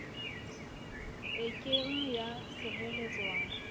e ke ng ya sireletswa